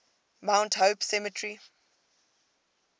mount hope cemetery